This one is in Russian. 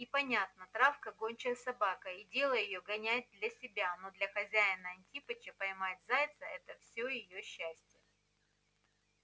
и понятно травка гончая собака и дело её гонять для себя но для хозяина-антипыча поймать зайца это все её счастье